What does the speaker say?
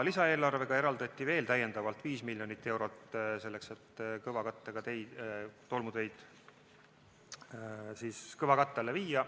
Lisaeelarvega eraldati veel viis miljonit eurot selleks, et tolmuteid kõvakatte alla viia.